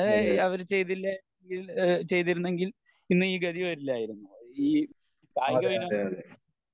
അതെ അതെയതെ